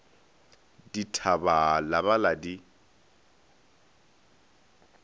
dithaba la ba la di